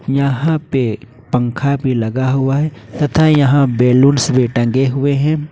यहां पे पंखा भी लगा हुआ है तथा यहां बैलून्स भी टंगे हुए हैं।